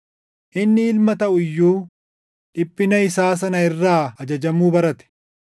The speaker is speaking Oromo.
Inni Ilma taʼu iyyuu dhiphina isaa sana irraa ajajamuu barate;